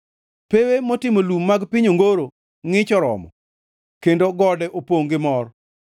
Pewe motimo lum mag piny ongoro ngʼich oromo; kendo gode opongʼ gi mor.